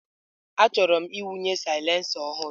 Achọrọ m ịwụnye silencer ọhụrụ.